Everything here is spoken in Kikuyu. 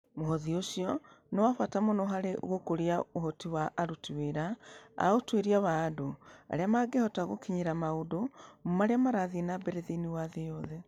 Mũhothi ũcio nĩ wa bata mũno harĩ gũkũria ũhoti wa aruti wĩra a ũtuĩria wa andũ arĩa mangĩhota gũkinyĩra maũndũ marĩa marathiĩ na mbere thĩinĩ wa thĩ ĩno.